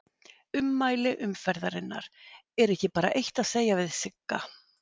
Ummæli umferðarinnar: Er ekki bara eitt að segja við Sigga?